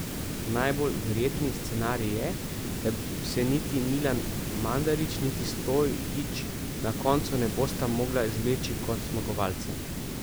Najbolj verjetni scenarij je, da se niti Milan Mandarić niti Stojić na koncu ne bosta mogla izvleči kot zmagovalca.